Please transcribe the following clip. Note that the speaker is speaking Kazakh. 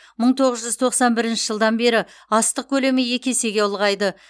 мың тоғыз жүз тоқсан бірінші жылдан бері астық көлемі екі есеге ұлғайды